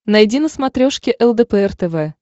найди на смотрешке лдпр тв